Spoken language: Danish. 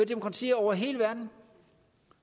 demokratier over hele verden